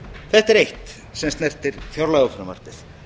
þetta er eitt sem snertir fjárlagafrumvarpið